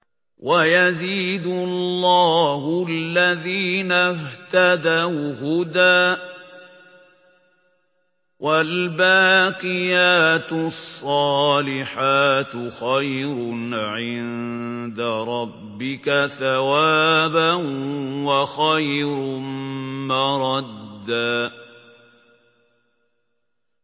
وَيَزِيدُ اللَّهُ الَّذِينَ اهْتَدَوْا هُدًى ۗ وَالْبَاقِيَاتُ الصَّالِحَاتُ خَيْرٌ عِندَ رَبِّكَ ثَوَابًا وَخَيْرٌ مَّرَدًّا